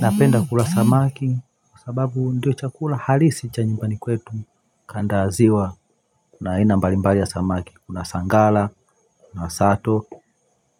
Napenda kula samaki, kwa sababu ndio chakula halisi cha nyumbani kwetu kando ya ziwa, kuna aina mbalimbali ya samaki, kuna sangala, kuna sato,